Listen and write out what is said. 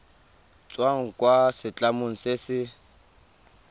tswang kwa setlamong se se